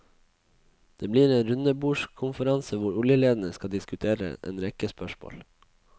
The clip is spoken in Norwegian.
Det blir en rundebordskonferanse hvor oljelederne skal diskutere en rekke spørsmål.